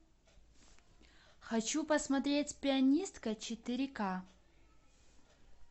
хочу посмотреть пианистка четыре ка